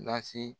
Lase